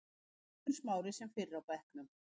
Eiður Smári sem fyrr á bekknum